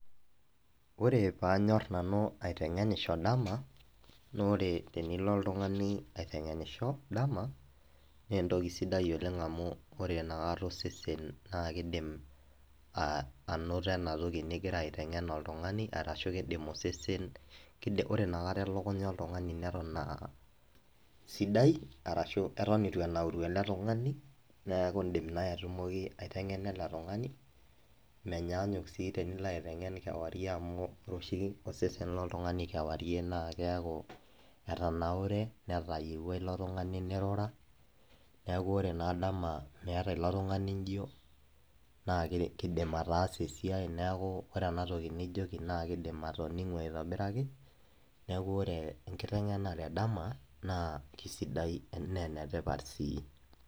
Ore panyor nanu aitengenisho dama na ore tenilo oltungani aitengenisho dama nentoki sidai oleng amu ore inakata osesen na kidim ainoto enatoki ningira aitengen oltungani arashu kindim osesen ,ore inakata elekunya oltungani neton a sidai arashu atan ituenauru oltungani neaku indim nai atumoki aitengena eletunganimenyanyuk si enilo aitengen osesen loltungani na keaku etanaure netayieuwua ilo tungani nirura, neaku ore naa dama meeta ilo tungani njo na kindim ataasa esiai ,ore enatoki nijoki na kidim ataasa ,atoningu aitobiraki neaku ore enkitengenare edama na kesida na enetipat si.